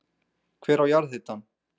Hver á jarðhitann?